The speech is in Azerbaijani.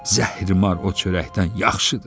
Zəhrimar o çörəkdən yaxşıdır.